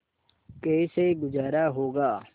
कैसे गुजारा होगा